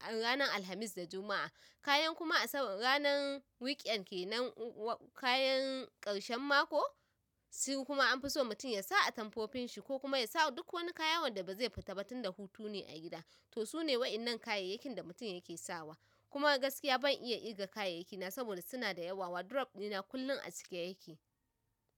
Al-- ranar Alhamis da Juma'a. Kayan kuma Asabar-- ranar weekend ke nan, wa-- kayan ƙarshen mako, su kuma an fi so mutum ya sa a tamfofin shi ko kuma ya sa duk wani kaya wanda ba zai fita ba tun da hutu ne a gida. To su ne waƴannan kayayakin da mutum yake sawa. Kuma gaskiya ban iya ƙirga kayayyaki na saboda suna da yawa. Wardrobe ɗina kullum a cike yake.